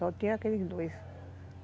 Só tinha aqueles dois.